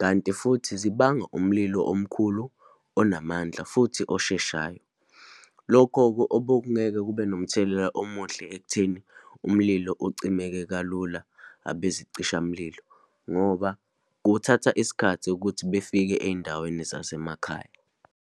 kanti futhi zibanga umlilo omkhulu, onamandla, futhi osheshayo. Lokho-ke obokungeke kube nomthelela omuhle ekutheni umlilo ucimeke kalula abezicishamlilo, ngoba kuthatha isikhathi ukuthi befike eyindaweni zasemakhaya.